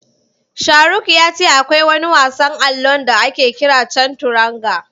Sharuk ya ce akwai wani wasan allon da ake kira Canturanga.